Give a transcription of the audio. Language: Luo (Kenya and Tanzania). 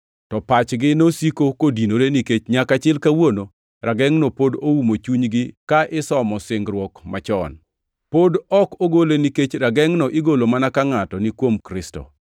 To pachgi nosiko kodinore, nikech nyaka chil kawuono ragengʼno pod oumo chunygi ka isomo singruok machon. Pod ok ogole nikech ragengʼno igolo mana ka ngʼato ni kuom Kristo.